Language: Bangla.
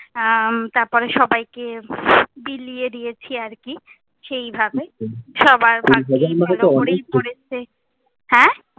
হম তার পরে সবাই কে বিলিয়ে দিয়েছি আর কি, সেই ভাবে, সবার ভাগ্যেই হ্যাঁ?